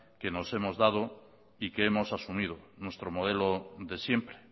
que nos hemos dado y que hemos asumido nuestro modelo de siempre